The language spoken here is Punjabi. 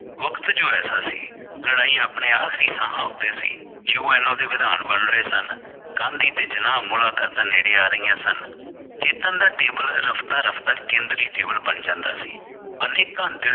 ਵਕਤ ਜੋ ਐਸਾ ਸੀ ਲੜਾਈ ਆਪਣੇ ਆਖਰੀ ਸਾਹਾਂ ਉਤੇ ਸੀ ਦੇ ਵਿਧਾਨ ਬਣ ਰਹੇ ਗਾਂਧੀ ਤੇ ਜਿਨਾਹ ਮੁਲਾਕਾਤਾਂ ਨੇੜੇ ਆ ਰਹੀਆਂ ਸਨ। ਚੇਤਨ ਦਾ table ਰਫਤਾ ਰਫਤਾ ਕੇਂਦਰੀ ਬਣ ਜਾਂਦਾ ਸੀ ਅਨੇਕਾਂ